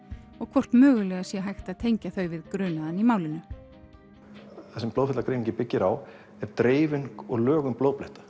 og hvort mögulega sé hægt að tengja þau við grunaðan í málinu það sem blóðferlagreiningin byggir á er dreifing og lögun